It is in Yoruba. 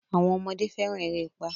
Àwọn ọmọdé fẹ́ràn erépá.